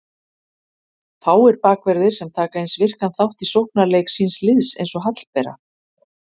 Fáir bakverðir sem taka eins virkan þátt í sóknarleik síns liðs eins og Hallbera.